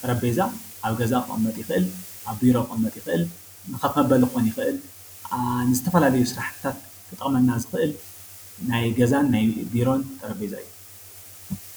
ጠረጴዛ ኣብ ገዛ ክቕመጥ ይኽእል። ኣብ ቢሮ ክቕመጥ ይኽእል። ንኸፍ መበሊ ክኾን ይክእል። ንዝተፈላለዩ ስራሕትታት ክጠቕመና ዝክእል ናይ ገዛን ናይ ቢሮን ጠረጴዛ እዩ።